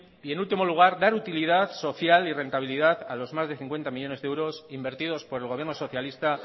y en último lugar dar utilidad social y rentabilidad a los más de cincuenta millónes de euros invertidos por el gobierno socialista